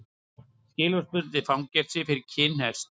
Skilorðsbundið fangelsi fyrir kinnhest